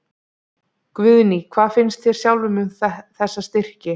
Guðný: Hvað finnst þér sjálfum um þessa styrki?